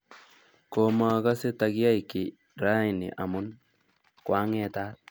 Komakase takiyai ki raini amun kwaang'etat